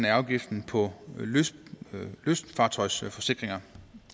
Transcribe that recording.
af afgiften på lystfartøjsforsikringer